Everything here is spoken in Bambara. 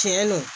Tiɲɛ don